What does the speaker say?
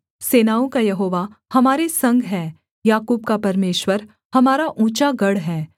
सेनाओं का यहोवा हमारे संग है याकूब का परमेश्वर हमारा ऊँचा गढ़ है सेला